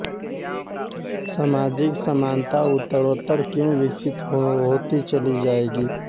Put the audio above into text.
सामाजिक समानता उत्तरोत्तर क्यों विकसित होती चली जाएगी